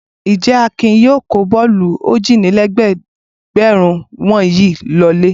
Ǹjẹ́ Akin yóò kó bọ́ọ́lù ójìlélẹ́ẹ̀dẹ́gbẹ̀rún wọ̀nyí lọlé?